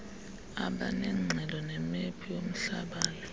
abanengxelo nemephu yomhlabale